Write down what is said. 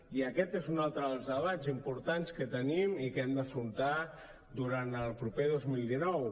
i aquest és un altre dels debats importants que tenim i que hem d’afrontar durant el proper dos mil dinou